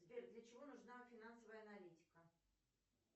сбер для чего нужна финансовая аналитика